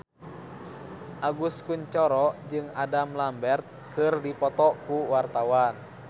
Agus Kuncoro jeung Adam Lambert keur dipoto ku wartawan